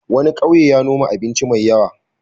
Wani ƙauye ya noma abinci mai yawa.